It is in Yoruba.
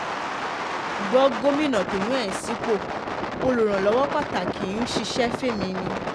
gbọ́ gómìnà tó yàn ẹ́ sípò olùrànlọ́wọ́ pàtàkì ń ṣiṣẹ́ fẹ̀mí ni